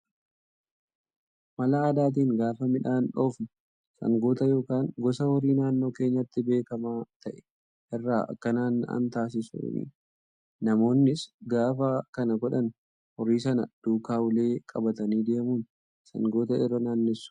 Mala aadaatiin gaafa midhaan dhoofnu sangoota yookaan gosa horii naannoo keenyatti beekamaa ta'e irra akka naanna'an taasisuuni. Namoonnis gaafa kana godhan horii sana duukaa ulee qabatanii deemuun sangoota irra naannessu.